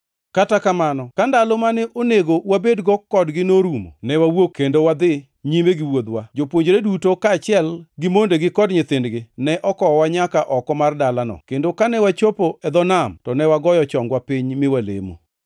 Kata kamano, ka ndalo mane onego wabedgo kodgi norumo, ne wawuok kendo wadhi nyime gi wuodhwa. Jopuonjre duto, kaachiel gi mondegi kod nyithindgi, ne okowowa nyaka oko mar dalano, kendo kane wachopo e dho nam, to ne wagoyo chongwa piny mi walemo.